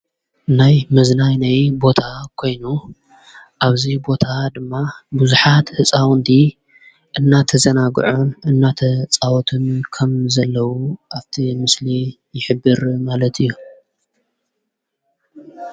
ናይ መዝናይ ነይ ቦታ ኴይኑ ኣብዙይ ቦታ ድማ ብዙኃት ሕፃውንዲ እናተ ዘናጕዑ እናተ ፃወትም ከም ዘለዉ ኣብቲ ምስሊ ይኅብር ማለት እዩ።